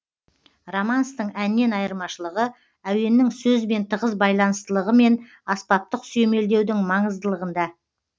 романстың әннен айырмашылығы әуеннің сөзбен тығыз байланыстылығы мен аспаптық сүйемелдеудің маңыздылығында